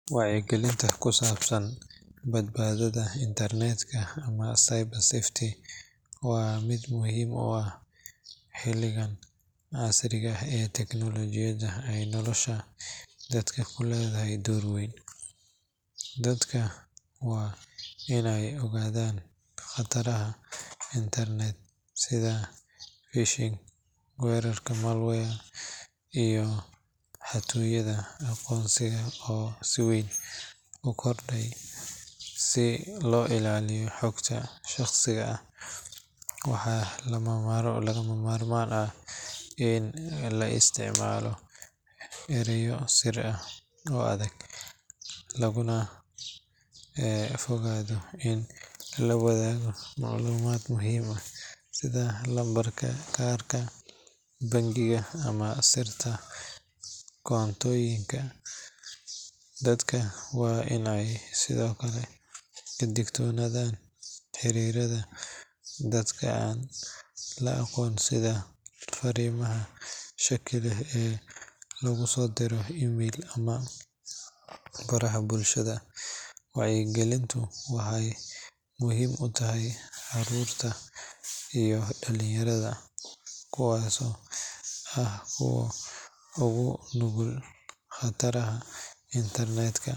Wacyigelinta ku saabsan badbaadada internetka ama cyber safety waa mid aad muhiim u ah xilligan casriga ah ee teknolojiyadda ay nolosha dadka ku leedahay door weyn. Dadka waa in ay ogaadaan khataraha internetka sida phishing, weerarada malware, iyo xatooyada aqoonsiga oo si weyn u kordhay. Si loo ilaaliyo xogta shaqsiga ah, waxaa lagama maarmaan ah in la isticmaalo erayo sir ah oo adag, lagana fogaado in la wadaago macluumaad muhiim ah sida lambarka kaarka bangiga ama sirta koontooyinka. Dadka waa in ay sidoo kale ka digtoonaadaan xiriirada dadka aan la aqoon iyo fariimaha shaki leh ee lagu soo diro email ama baraha bulshada. Wacyigelintu waxay muhiim u tahay caruurta iyo dhalinyarada, kuwaasoo ah kuwa ugu nugul khatarta internetka.